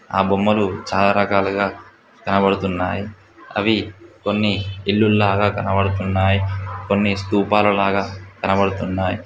ఆ బొమ్మలు చాలా రకాలుగా కనబడుతున్నాయి అవి కొన్ని ఇల్లులు లాగా కనబడుతున్నాయి కొన్ని స్టూపాలా లాగ కనబడుతున్నాయి